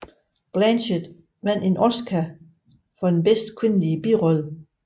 Blanchett vandt en Oscar for bedste kvindelige birolle